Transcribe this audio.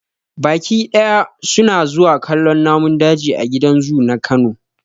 Baƙi dayawa su na zuwa kallon namun daji a gidan zu na kano.